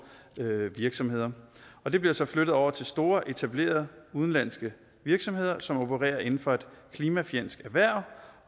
virksomheder og de bliver så flyttet over til store etablerede udenlandske virksomheder som opererer inden for et klimafjendsk erhverv